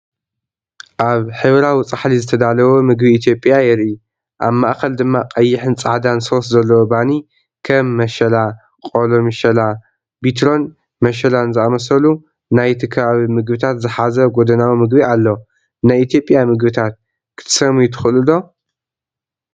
ኣብ ሕብራዊ ጻሕሊ ዝተዳለወ መግቢ ኢትዮጵያ የርኢ። ኣብ ማእከል ድማ ቀይሕን ጻዕዳን ሶስ ዘለዎ ባኒ፡ ከም መሸላ፡ ቆሎ፡ ምሸላ፡ ቢትሮን መሸላን ዝኣመሰሉ ናይቲ ከባቢ መግብታት ዝሓዘ ጎድናዊ መግቢ ኣሎ። ናይ ኢትዮጵያ መግብታት ክትሰምዩ ትኽእሉ ዶ?